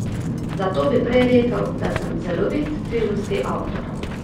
Zato bi prej rekel, da sem celovit filmski avtor.